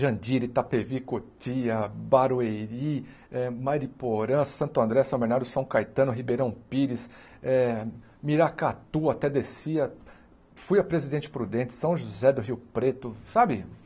Jandiri, Itapevi, Cotia, Barueri, Mariporã, Santo André, São Bernardo, São Caetano, Ribeirão Pires, Miracatu, até Descia, fui a Presidente Prudente, São José do Rio Preto, sabe?